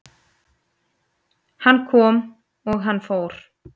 Hann kom og hann fór